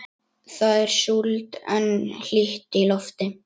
Það er súld en hlýtt í lofti.